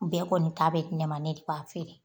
Bɛɛ kɔni ta bɛ di ne ma, ne de b'a feere